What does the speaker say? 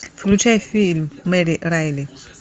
включай фильм мэри райли